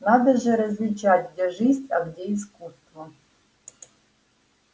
надо же различать где жизнь а где искусство